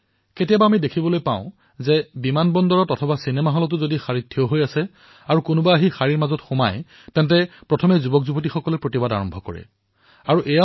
কেতিয়াবা কেতিয়াবা আমি দেখা পাওঁ যে বিমানবন্দৰত অথবা চিনেমা থিয়েটাৰত যদি কোনোবাই শাৰীৰ মাজত বলপূৰ্বকভাৱে সোমাবলৈ চেষ্টা কৰে তেন্তে তেওঁলোকে ইয়াৰ বিৰুদ্ধে মাত মাতে